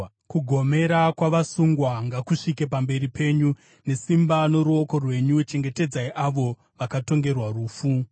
Kugomera kwavasungwa ngakusvike pamberi penyu; nesimba roruoko rwenyu chengetedzai avo vakatongerwa rufu.